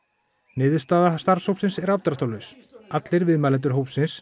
niðurstaða starfshópsins er afdráttarlaus allir viðmælendur hópsins